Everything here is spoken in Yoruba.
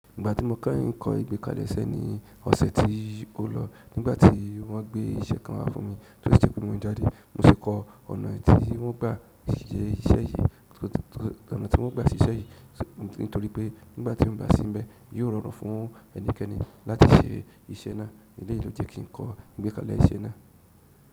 Ìgbà tí mo kẹ́yiń kọ́ ìgbẹ́kalẹ̀ iṣẹ́ ní ọ̀sẹ̀ tí ó lọ, nígbà tí wọ́n gbé iṣẹ́ kan wá fún mi tó si jẹ pe mo jáde. Mo sì kọ ọ̀nà tí wọ́n gbà se iṣẹ́ yìí, nítorí pé nígbà tin bá sínbẹ̀, yóò rọrùn fún ẹnikẹ́ni láti ṣe iṣẹ́ náà. Eleyi lo jẹ kin kọ ìgbekalẹ̀ iṣẹ́ náà.